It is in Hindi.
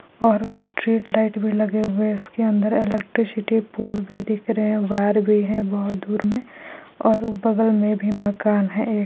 और स्ट्रेट लाइट भी लगे हुए हैं उसके अंदर इलेक्ट्रिसिटी पोल भी दिख भी रहे हैं वायर भी है बहुत दूर में और वो बगल में भी मकान है एक।